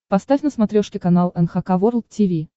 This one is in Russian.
поставь на смотрешке канал эн эйч кей волд ти ви